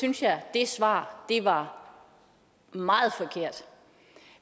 synes jeg det svar var meget forkert